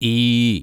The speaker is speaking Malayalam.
ഈ